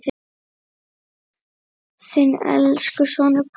Þinn elsku sonur, Páll Arnar.